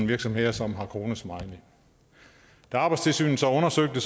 virksomheder som har kronesmiley da arbejdstilsynet så undersøger det